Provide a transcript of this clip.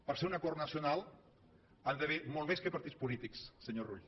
per ser un acord nacional hi han d’haver molt més que partits polítics senyor rull